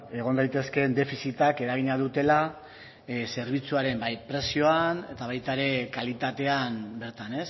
egon daitezkeen defizitak eragina dutela zerbitzuaren bai prezioan eta baita ere kalitatean bertan